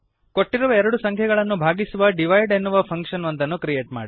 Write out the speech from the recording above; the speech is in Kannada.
ಕೊಟ್ಟಿರುವ ಎರಡು ಸಂಖ್ಯೆಗಳನ್ನು ಭಾಗಿಸುವ ದಿವಿದೆ ಎನ್ನುವ ಫಂಕ್ಶನ್ ಒಂದನ್ನು ಕ್ರಿಯೇಟ್ ಮಾಡಿರಿ